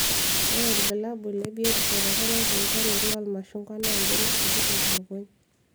Ore irbulabul le biotisho toronok tolchani loo irmashungwa na mbenek sikitok lukuny